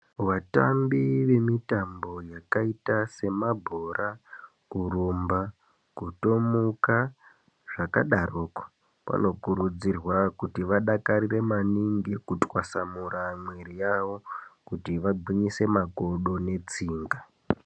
Vatambi vemitambo yakaita semabhora, kurumba kutomuka, zvakadaroko, vanokurudzirwa kuti vadakarire maningi kutwasamura mwiiri yavo, kuti vangwinyise makodo netsinga.